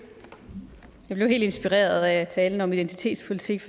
jeg blev helt inspireret af talen om identitetspolitik